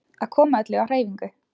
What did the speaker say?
Að koma öllu á hreyfingu.